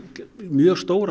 mjög stór